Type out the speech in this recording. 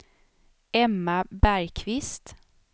Emma Bergkvist